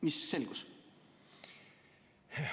Mis selgus?